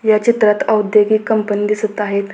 या चित्रात औद्योगिक कंपनी दिसत आहेत.